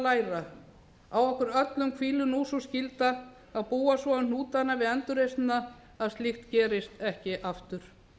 læra á okkur öllum hvílir nú sú skylda að búa svo um hnútana við endurreisnina að slíkt gerist ekki aftur